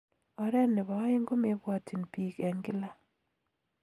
Oret nebo aeng komebwatchin bike eng kila